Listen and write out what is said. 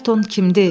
“Ayrton kimdi?”